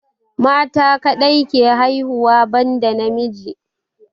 Mata kadai ke haihuwa ban da namiji